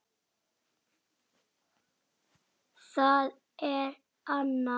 Það er Anna.